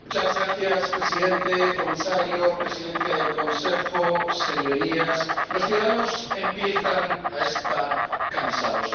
Señor Presidente, Comisario, Presidencia en ejercicio del Consejo, señorías, los ciudadanos empiezan a estar cansados.